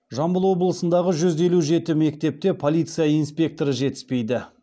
жамбыл облысындағы жүз елу жеті мектепте полиция инспекторы жетіспейді